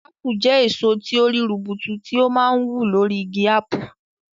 Ápù jẹ́ èso tí ó rí rubutu tí ó máa ń wù lórí igi ápù.